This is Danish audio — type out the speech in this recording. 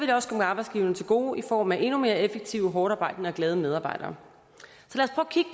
det også komme arbejdsgiverne til gode i form af endnu mere effektive hårdtarbejdende og glade medarbejdere